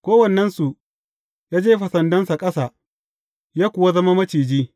Kowannensu ya jefa sandansa ƙasa, ya kuwa zama maciji.